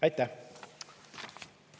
Aitäh!